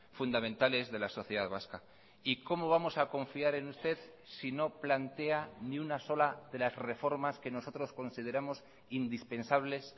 fundamentales de la sociedad vasca y cómo vamos a confiar en usted si no plantea ni una sola de las reformas que nosotros consideramos indispensables